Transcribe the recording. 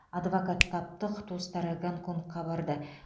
адвокат таптық туыстары гонконгқа барды